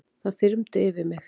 Það þyrmdi yfir mig.